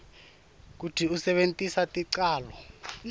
kutsi usebentise ticalo